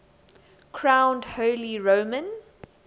crowned holy roman